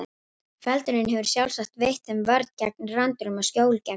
Feldurinn hefur sjálfsagt veitt þeim vörn gegn rándýrum og skjól gegn kulda.